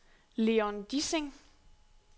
Leon Dissing